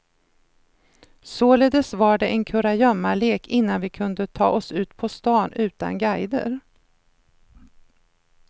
Således var det en kurragömmalek innan vi kunde ta oss ut på stan utan guider.